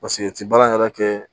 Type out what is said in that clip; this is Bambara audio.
Paseke o ti baara yɛrɛ kɛ